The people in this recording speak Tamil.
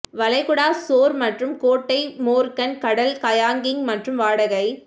வளைகுடா ஷோர் மற்றும் கோட்டை மோர்கன் கடல் கயாகிங் மற்றும் வாடகை